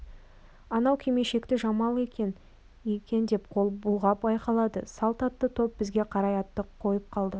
анау кимешекті жамалекең екен деп қол бұлғап айқайлады салт атты топ бізге қарай атты қойып қалды